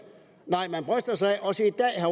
nej man bryster sig også i dag af